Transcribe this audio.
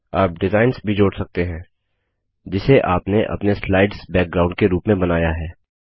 आप डिजाइन्स भी जोड़ सकते हैं जिसे आपने अपने स्लाइड्स बैकग्राउंड के रूप में बनाया है